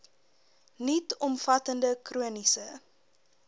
nuut omvattende chroniese